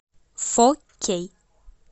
фо кей